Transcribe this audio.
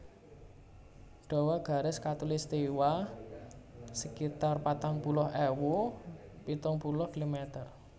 Dawa garis khatulistiwa sekitar patang puluh ewu pitung puluh kilometer